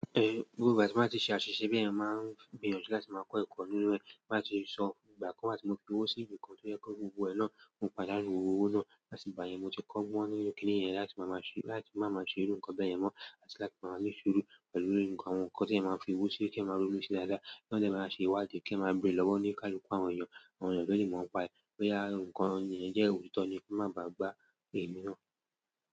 Gbogbo ìgbà tí màá ti ṣe àṣìṣe bẹ́ẹ̀yẹn, mo máa ń gbìyànjú láti máa kọ́ ẹ̀kọ́ nínú ẹ̀, láti sọ ìgbà kan wá ti fi owó sí ibìkan tó yẹ kó gbogbo ẹ náà mo padà nínú owó náà. Àti ìgbà yẹn ni mo ti kọ́ gbọ́n nínú kiní yẹn láti má máa ṣe irú ǹkan bá yẹn mọ́ àti láti máa ní sùúrù pẹ̀lú ǹkan tí ènìyàn máa fi igbó sí, ki ènìyàn máa ṣé dáadáa. Kán dẹ̀ máa ṣe ìwádìí, kí èèyàn ma bèrè lọ́wọ́ olúkúlùkù àwọn èèyàn, àwọn èèyàn tó lè mọ̀ nípa ẹ̀, bóyá ǹkan ẹni yẹn jẹ́ òtítọ́ ni, kí wọn máà bàá gbá èmi náà.